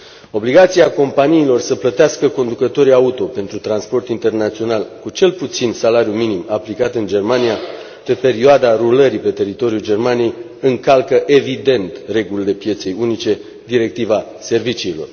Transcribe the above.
Obligația companiilor să plătească conducătorii auto pentru transport internațional cu cel puțin salariul minim aplicat în Germania pe perioada rulării pe teritoriul Germaniei încalcă evident regulile pieței unice, directiva serviciilor.